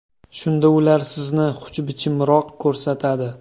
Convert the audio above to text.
Shunda ular sizni xushbichimroq ko‘rsatadi.